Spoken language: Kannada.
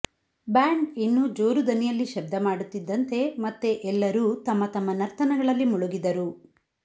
ಬ್ಯಾಂಡ್ ಇನ್ನೂ ಜೋರು ದನಿಯಲ್ಲಿ ಶಬ್ದ ಮಾಡುತ್ತಿದ್ದಂತೆ ಮತ್ತೆ ಎಲ್ಲರೂ ತಮ್ಮ ತಮ್ಮ ನರ್ತನಗಳಲ್ಲಿ ಮುಳುಗಿದರು